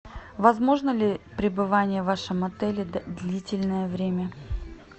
возможно ли пребывание в вашем отеле длительное время